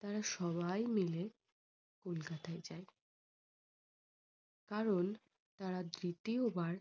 তারা সবাই মাইল যায়। কারণ তারা দ্বিতীয় বার